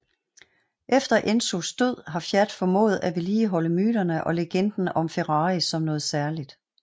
Efter Enzos død har Fiat formået at vedligeholde myterne og legenden om Ferrari som noget særligt